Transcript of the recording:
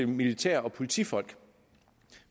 militær og politifolk